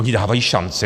Oni dávají šanci?